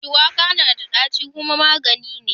Shuwaka na da ɗaci kuma magani ne.